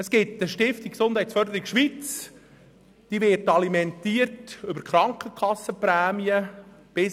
Es gibt eine Stiftung Gesundheitsförderung Schweiz, welche mit einem Anteil an den Krankenkassenprämien alimentiert wird.